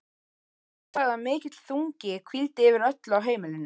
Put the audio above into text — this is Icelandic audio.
Hann sagði að mikill þungi hvíldi yfir öllu á heimilinu.